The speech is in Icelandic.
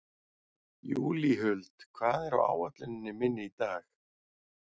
Júlíhuld, hvað er á áætluninni minni í dag?